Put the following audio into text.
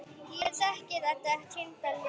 Ég þekki þetta týnda líf.